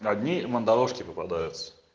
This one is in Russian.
одни мандавошки попадаются